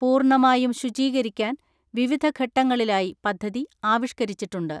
പൂർണ്ണമായും ശുചീകരിക്കാൻ വിവിധ ഘട്ടങ്ങളിലായി പദ്ധതി ആവിഷ്ക്കരിച്ചിട്ടുണ്ട്.